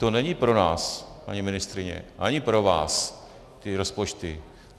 To není pro nás, paní ministryně, ani pro vás ty rozpočty.